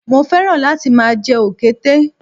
Mo fẹ́ràn láti máa jẹ òkété